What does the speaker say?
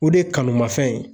O de ye kanumafɛn ye